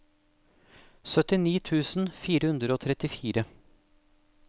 syttini tusen fire hundre og trettifire